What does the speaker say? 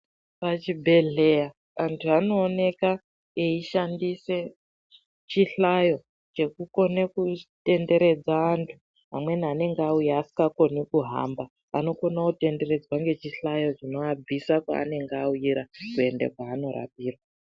Pachibhedhleya antu anooneka eishandise chihlayo chekukone kutenderedza antu amweni anenge auya asisakoni kuhamba anokona kutenderedza nechihlayo chinoabvisa paanenge auira kuenda kwanorapira.